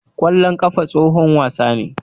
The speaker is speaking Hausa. Ƙwallon ƙafa tsohon wasa ne.